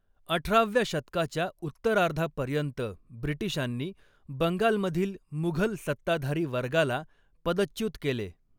अठराव्या शतकाच्या उत्तरार्धापर्यंत ब्रिटिशांनी बंगालमधील मुघल सत्ताधारी वर्गाला पदच्युत केले.